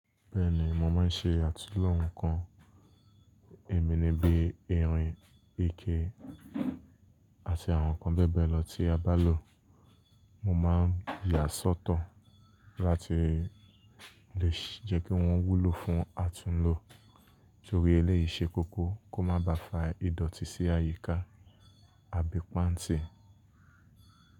Bẹ́ẹ̀ni, mo máa ń ṣe àtúnlo nǹkan níbiníbi, irin, ike àti àwọn nǹkan bẹ́ẹ̀ bẹ́ẹ̀ lọ tí a bá lò. Mo máa yà sọ́tọ̀ láti lè jẹ́ kí wọ́n wúlò fún àtúnlò torí eléyìí ṣe kókó kó má ba à fa ìdọ̀tí sí àyíká àbí pàǹtí.